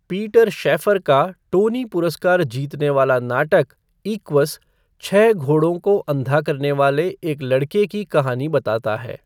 Peter Shaffer का Tony पुरस्कार जीतने वाला नाटक, इक्वस, छह घोड़ों को अंधा करने वाले एक लड़के की कहानी बताता है।